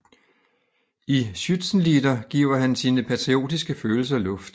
I Schützenlieder giver han sine patriotiske følelser luft